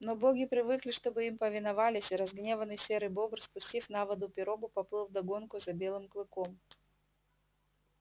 но боги привыкли чтобы им повиновались и разгневанный серый бобр спустив на воду пирогу поплыл вдогонку за белым клыком